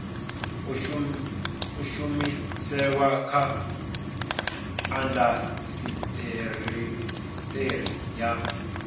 a shumiseswa kha indasiteri ya